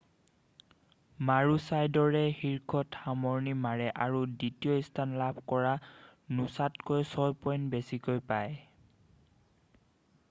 মাৰুচাইডৰে শীৰ্ষত সামৰণি মাৰে আৰু দ্বিতীয় স্থান লাভ কৰা নোছাতকৈ ছয় পইণ্ট বেছিকৈ পায়